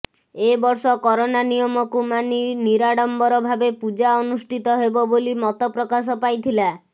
ଏ ବର୍ଷ କରୋନା ନିୟମକୁ ମାନି ନିରାଡମ୍ବର ଭାବେ ପୁଜା ଅନୁଷ୍ଠିତ ହେବ ବୋଲି ମତ ପ୍ରକାଶ ପାଇଥିଲା